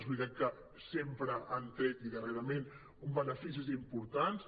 és veritat que sempre han tret i darrerament beneficis importants